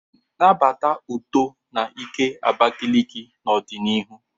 Nabata uto na ike Abakaliki n'ọdịnihu.